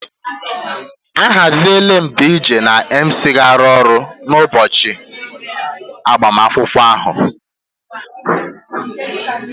Ahaziela m DJ na MC nke ga-arụ ọrụ n'ụbọchị agbamakwụkwọ ahụ